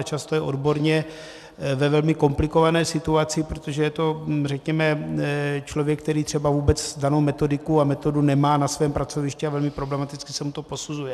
A často je odborně ve velmi komplikované situaci, protože je to řekněme člověk, který třeba vůbec danou metodiku a metodu nemá na svém pracovišti a velmi problematicky se mu to posuzuje.